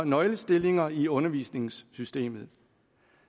nøglestillinger i undervisningssystemet